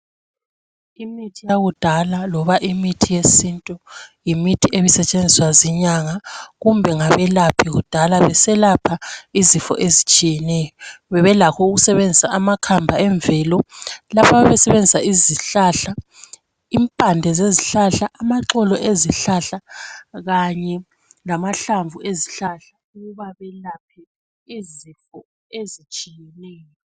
Imithi yakudala loba imithi yesintu yimithi ebesetshenziswa zinyanga kumbe ngabelaphi kudala beselapha izifo ezitshiyeneyo. Bebelakho ukusebenzisa amakamba emvelo. Lapha ababesenzisa izihlahla, impande zezihlahla, amaxolo ezihlahla khanye lamahlamvu ezihlahla ukuba belaphe izifo ezitshiyeneyo.